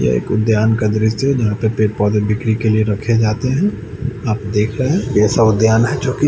यह एक उद्यान का दृश्य है। जहां पे पेड़ पौधे बिक्री के लिए रखे जाते हैं। आप देख रहे हैं ऐसा उद्यान है जो की--